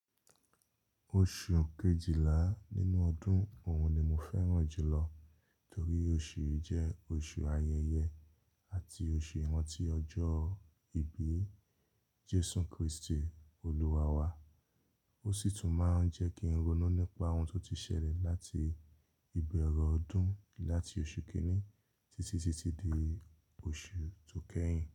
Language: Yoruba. Oṣù kejìlá nínú ọdún òun ni mo fẹ́ràn jùlọ torí oṣù yìí jẹ́ oṣù ayẹyẹ àti oṣù ìrántí ọjọ́ ìbí Jésù Kristi olúwa wa. Ó sì tún máa ń jẹ́ kí n ronú nípa ohun tó ti ṣẹlẹ̀ láti ìbẹ̀rẹ̀ ọdún láti oṣù kìíní títí títí di oṣù tó kẹ́yìn.